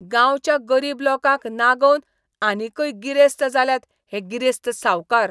गांवच्या गरीब लोकांक नागोवन आनीकय गिरेस्त जाल्यात हे गिरेस्त सावकार.